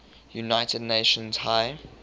united nations high